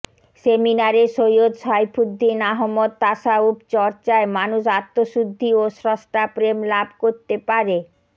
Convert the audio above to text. সেমিনারে সৈয়দ সাইফুদ্দীন আহমদ তাসাউফ চর্চায় মানুষ আত্মশুদ্ধি ও স্রষ্টাপ্রেম লাভ করতে পারে